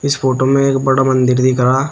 इस फोटो में एक बड़ा मंदिर दिख रहा।